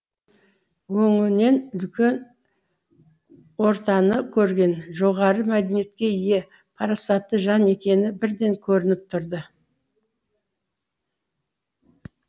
өңінен үлкен ортаны көрген жоғары мәдениетке ие парасатты жан екені бірден көрініп тұрды